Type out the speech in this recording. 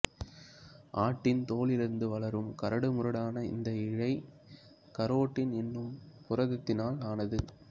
ஆட்டின் தோலிலிருந்து வளரும் கரடுமுரடான இந்த இழை கரோட்டின் என்னும் புரதத்தினால் ஆனது